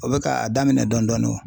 O bɛ ka a daminɛ dɔɔnin dɔɔnin o